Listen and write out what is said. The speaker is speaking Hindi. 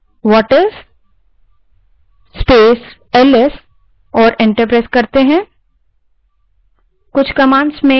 अब whatis space ls type करें और enter दबायें